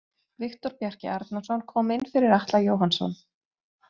Viktor Bjarki Arnarsson kom inn fyrir Atla Jóhannsson.